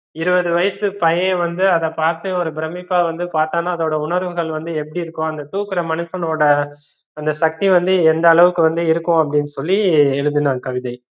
இருவது வயசு பையன் வந்து அத பாத்து ஒரு பிரமிப்பா வந்து பாத்தானா அதோட உணர்வுகள் வந்து எப்படி இருக்கும் அந்த தூக்கற மனுசனோட அந்த சக்தி வந்து எந்த அளவுக்கு வந்து இருக்கும் அப்படின்னு சொல்லி எழுதுன கவிதை